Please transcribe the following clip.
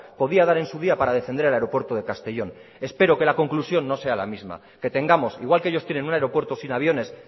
podía dar en su día para defender el aeropuerto de castellón espero que la conclusión no sea la misma que tengamos igual que ellos tienen un aeropuerto sin aviones